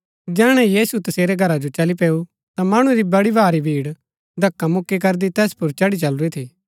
जैहणै यीशु तसेरै घरा जो चली पैऊ ता मणु री बड़ी भारी भीड़ धक्‍कामुक्‍की करदी तैस पुर चढ़ी चलुरी थी